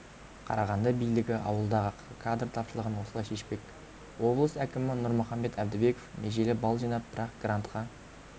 қарағанды билігі ауылдағы кадр тапшылығын осылай шешпек облыс әкімі нұрмұхамбет әбдібеков межелі балл жинап бірақ грантқа